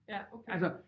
Ja okay